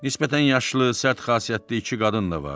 Nisbətən yaşlı, sərt xasiyyətli iki qadın da vardı.